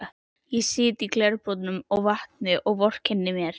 Ég sit í glerbrotum og vatni og vorkenni mér.